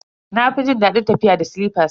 Na fi jin dadin tafiya da silifas.